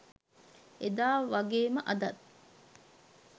එදා වගේම අදත්